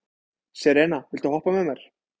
Serena, viltu hoppa með mér?